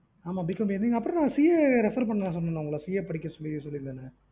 ஆமா Bcom அப்புறம் CA பண்ண உங்களுக்கு படிக்க சொல்லி சொல்லியிருந்தான்ல